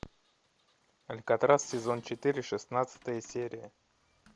алькатрас сезон четыре шестнадцатая серия